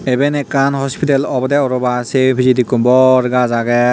eane ekan hospital oboday parapang saye pijadi eko bor gus aagay.